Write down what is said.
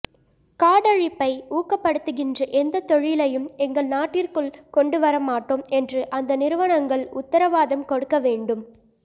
காடழிப்பை ஊக்கப்படுத்துகின்ற எந்தத் தொழிலையும் எங்கள் நாட்டிற்குள் கொண்டுவர மாட்டோம் என்று அந்த நிறுவனங்கள் உத்தரவாதம் கொடுக்க வேண்டும்